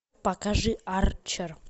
покажи арчер